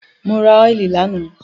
Mo ra óìlì lánàá.